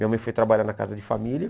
Minha mãe foi trabalhar na casa de família.